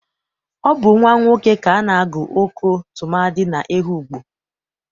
Ọ bụ nwa nwoke ka a na-agụ Oko tụmadị n'Ehụgbọ.